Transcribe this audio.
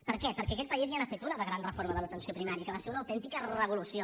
per què perquè aquest país ja n’ha fet una de gran reforma de l’atenció primària que va ser una autèntica revolució